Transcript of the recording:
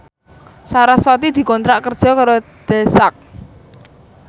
sarasvati dikontrak kerja karo The Sak